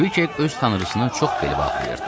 Kviket öz tanrısına çox bel bağlayırdı.